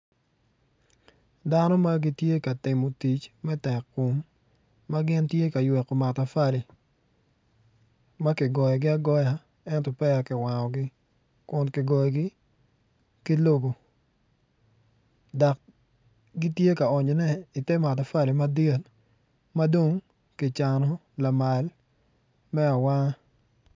Dano ma gitye ka timo tic me tekkom ma gitye ka yweko matafali ma kigoyogi agoya ento peya kiwangogi kun kigoyogi ki lobo dok gitye ka onyone ite matafali madit ma dong kicano lamal me awanga.